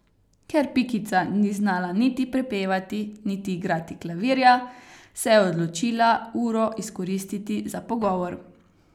Ker Pikica ni znala niti prepevati niti igrati klavirja, se je odločila uro izkoristiti za pogovor.